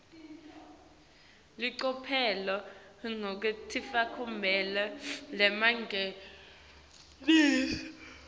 licophelo lekuticambela lingemalengiso